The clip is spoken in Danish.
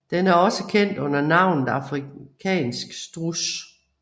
Den er også kendt under navnet afrikansk struds